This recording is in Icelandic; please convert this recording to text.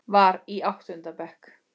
Var í áttunda bekk.